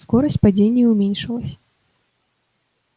скорость падения уменьшилась